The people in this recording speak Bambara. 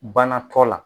Bana tɔ la